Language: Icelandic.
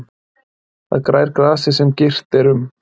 Þar grær grasið sem girt er um.